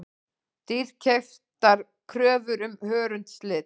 Dýrkeyptar kröfur um hörundslit